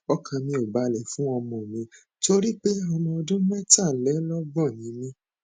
ọkàn mi ò balẹ fún ọmọ mi torí pé ọmọ ọdún mẹtàlélọgbọn ni mí